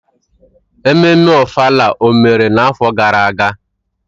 Ememme ofala mere n'afọ gara aga?